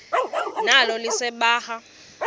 nalo lise libaha